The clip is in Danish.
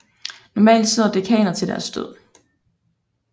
Normalt sidder dekaner til deres død